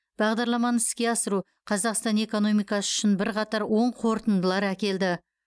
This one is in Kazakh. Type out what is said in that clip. бағдарламаны іске асыру қазақстан экономикасы үшін бірқатар оң қорытындылар әкелді